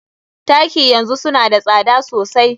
Taki yanzu suna da tsada sosai.